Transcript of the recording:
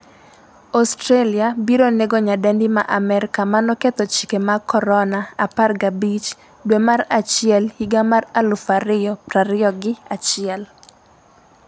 Australia biro nego nyadendi ma Amerka manoketho chike mag Corona' 15 dwe mar achiel 2021